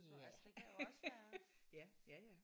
Ja ja ja ja